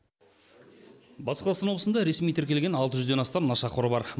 батыс қазақстан облысында ресми тіркелген алты жүзден астам нашақор бар